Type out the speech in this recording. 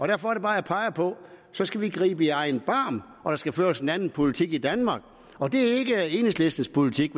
derfor er det bare jeg peger på at så skal vi gribe i egen barm og der skal føres en anden politik i danmark og det er ikke enhedslistens politik